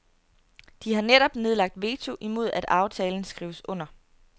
De har netop nedlagt veto imod at aftalen skrives under.